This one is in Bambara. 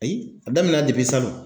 Ayi a daminɛna salon.